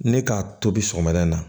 Ne k'a tobi sɔgɔmada in na